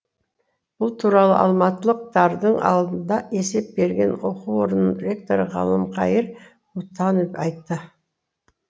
бұл туралы алматылықтардың алдында есеп берген оқу орнының ректоры ғалымқайыр мұтанов айтты